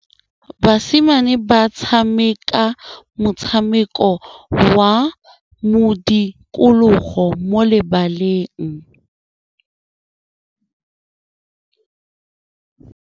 Basimane ba tshameka motshameko wa modikologô mo lebaleng.